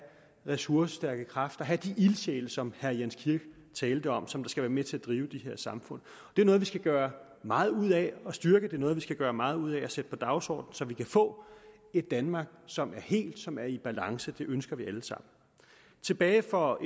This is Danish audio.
ressourcestærke kræfter have de ildsjæle som herre jens kirk talte om som skal være med til at drive de her samfund det er noget vi skal gøre meget ud af at styrke er noget vi skal gøre meget ud af at sætte på dagsordenen så vi kan få et danmark som er helt og som er i balance det ønsker vi alle sammen tilbage for